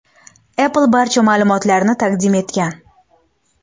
Apple barcha ma’lumotlarni taqdim etgan.